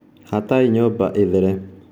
Hatai nyũmba ĩthere.